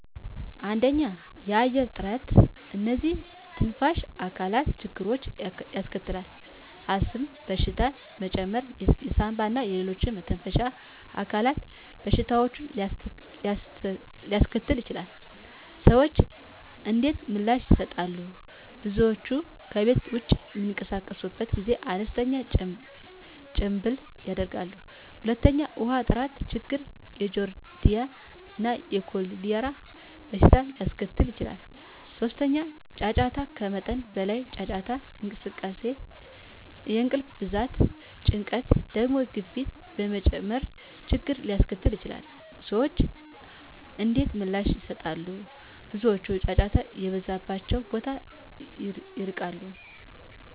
1. የአየር ጥራት *እነዚህ የትንፋሽ አካላት ችግሮችን ያስከትላል፣ የአስም በሽታ መጨመር የሳንባ እና ሌሎች የመተንፈሻ አካላት በሽታዎችን ሊያስከትሉ ይችላሉ። **ሰዎች እንዴት ምላሽ ይሰጣሉ? *ብዙ ሰዎች ከቤት ውጭ በሚንቀሳቀሱበት ጊዜ አነስተኛ ጭምብል ያደርጋሉ። 2. ውሃ ጥራት ችግር የጃርዲያ እና የኮሌራ በሽታ ሊያስከትል ይችላል። 3. ጫጫታ ከመጠን በላይ ጫጫታ የእንቅልፍ መዛባት፣ ጭንቀት፣ የደም ግፊት መጨመር ችግርን ሊያስከትል ይችላል። *ሰዎች እንዴት ምላሽ ይሰጣሉ? ብዙ ሰዎች ጫጫታ የበዛባቸውን ቦታዎች ይርቃሉ።